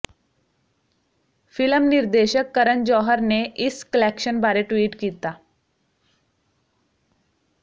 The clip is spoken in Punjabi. ਫਿਲਮ ਨਿਰਦੇਸ਼ਕ ਕਰਨ ਜੌਹਰ ਨੇ ਇਸ ਕਲੈਕਸ਼ਨ ਬਾਰੇ ਟਵੀਟ ਕੀਤਾ